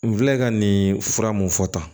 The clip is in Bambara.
N filɛ ka nin fura mun fɔ tan